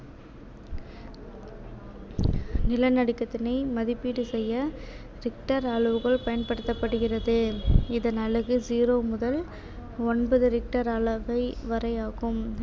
நிலநடுக்கத்தினை மதிப்பீடு செய்ய richter அளவுகோல் பயன்படுத்தப்படுகிறது இதன் அலகு zero முதல் ஒன்பது richter அளவை வரை ஆகும்